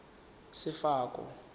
sefako